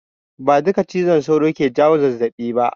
Ba duka cizon sauro ke jawo zazzaɓi ba.